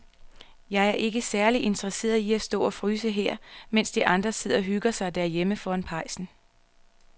Jeg er ikke særlig interesseret i at stå og fryse her, mens de andre sidder og hygger sig derhjemme foran pejsen.